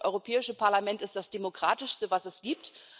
Ich finde, das Europäische Parlament ist das demokratischste, das es gibt.